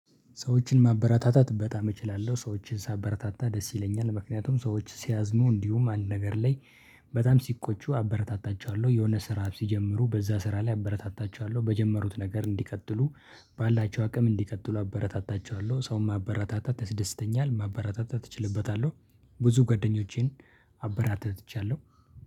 ሰዎችን ማበረታታት በጣም እችላለሁ ሰዎችን ሳበረታታ ደስ ይለኛል። ምክንያቱም ሰዎች ሲያዝኑ እንዲሁም አንድ ነገር ላይ በጣም ሲቆጩ አበረታታቸዋለሁ። የሆነ ስራ ሲጀምሩ በዛ ስራ ላይ አበረታታቻዋለሁ በጀመሩት ነገር እንዲቀጥሉ ባላቸው አቅም እንዲቀጥሉ አበረታታቸዋለሁ። ሰውን አበረታታ ያስደስተኛል ማበረታታ እችልበታለሁ። ብዙ ጓደኞቼን አበራተትቻለሁ